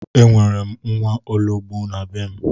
E nwere m nwaologbo na be m.